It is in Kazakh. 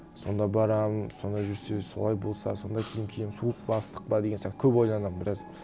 сонда барамын сонда жүрсе солай болса сондай киім киемін суық па ыстық па деген сияқты көп ойланамын біраз